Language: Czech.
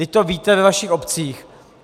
Vždyť to víte ve vašich obcích.